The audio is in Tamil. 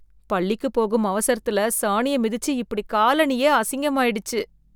பள்ளிக்குப் போகும் அவசரத்துல சாணிய மிதிச்சு இப்படி காலணியே அசிங்கம் ஆயிடுச்சு